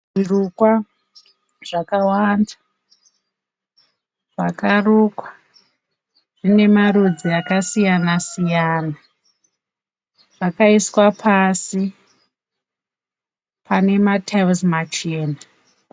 Zvirukwa zvakawanda zvakarukwa zvine marudzi akasiyana siyana. Zvakaiswa pasi pane matiles machena